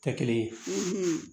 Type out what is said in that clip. Tɛ kelen ye